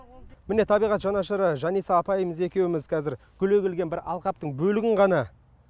міне табиғат жанашыры жаниса апайымыз екеуміз қазір гүл егілген бір алқаптың бөлігін ғана